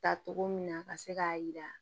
Ta togo min na ka se k'a yira